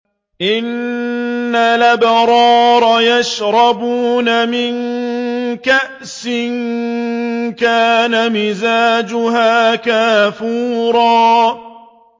إِنَّ الْأَبْرَارَ يَشْرَبُونَ مِن كَأْسٍ كَانَ مِزَاجُهَا كَافُورًا